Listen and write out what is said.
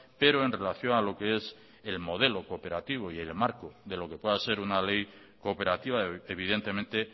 pero en relación a lo que es el modelo cooperativo y el marco de lo que pueda ser una ley cooperativa evidentemente